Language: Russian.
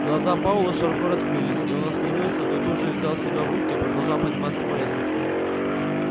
глаза пауэлла широко раскрылись и он остановился но тут же взял себя в руки и продолжал подниматься по лестнице